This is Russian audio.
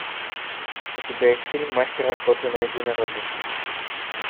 у тебя есть фильм мастер охоты на единорога